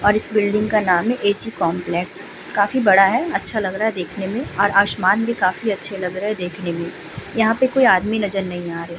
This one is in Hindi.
और इस बिल्डिंग का नाम है एसी कॉम्प्लेक्स । काफी बड़ा है। अच्छा लग रहा है देखने में और आसमान भी काफी अच्छे लग रहे हैं देखने में। यहाँ पे कोई आदमी नजर नहीं आ रहे हैं।